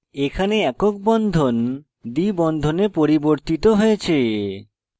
এখানে একক bond দ্বি বন্ধনে পরিবর্তিত হয়েছে